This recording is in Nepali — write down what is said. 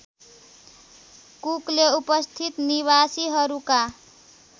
कुकले उपस्थित निवासीहरूका